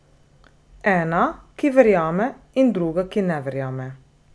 Ena, ki verjame, in druga, ki ne verjame.